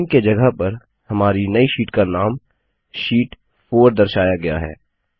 नामे के जगह पर हमारी नई शीट का नाम शीट 4 दर्शाया गया है